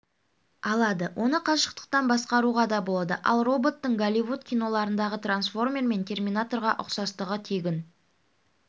алады оны қашықтан басқаруға да болады ал роботтың голливуд киноларындағы трансформер мен терминаторға ұқсастығы тегін